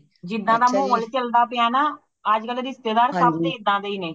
ਜਿੱਦਾਂ ਦਾ ਮਾਹੌਲ ਚਲਦਾ ਪੀਯਾ ਨਾ ਅੱਜ ਕੱਲ ਰਿਸ਼ਤੇਦਾਰ ਸਭ ਦੇ ਇਦਾ ਦੇ ਹੀਣੇ